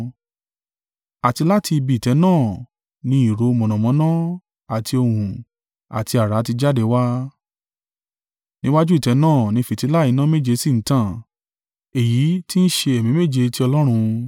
Àti láti ibi ìtẹ́ náà ni ìró mọ̀nàmọ́ná àti ohùn àti àrá ti jáde wá: níwájú ìtẹ́ náà ni fìtílà iná méje sì ń tàn, èyí tí ń ṣe Ẹ̀mí méje ti Ọlọ́run.